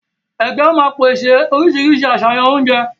Ègé ó má pèsè oríṣiríṣi àṣàyàn oúnjẹ